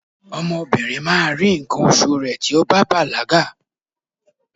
ọmọ obinrin ma ri nkan osu rẹ ti o ba balaga